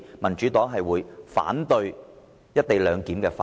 民主黨反對《條例草案》。